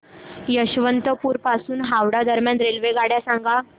यशवंतपुर पासून हावडा दरम्यान रेल्वेगाड्या सांगा